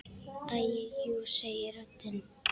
Æi jú, segir röddin.